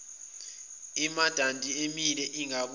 imidanti emile ingabuye